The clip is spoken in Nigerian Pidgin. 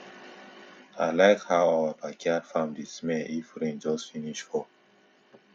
i like how our backyard farm dey smell if rain just finish fall